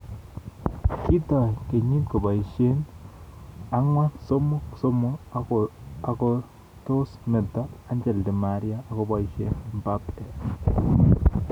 Kitoi kenyiit koboisye 4-3-3 akotosmeto Angel Di Maria akoboisye Mbappe